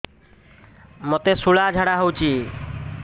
ମୋତେ ଶୂଳା ଝାଡ଼ା ହଉଚି